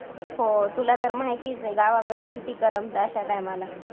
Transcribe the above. हो. तुला तर माहितीच आहे गावाकडे किती करमत अशा time ला